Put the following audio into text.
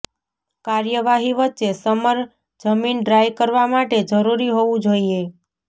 કાર્યવાહી વચ્ચે સમર જમીન ડ્રાય કરવા માટે જરૂરી હોવું જોઈએ